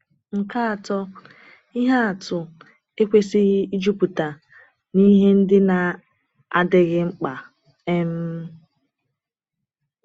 Nke atọ, ihe atụ ekwesịghị ịjupụta n’ihe ndị na-adịghị mkpa. um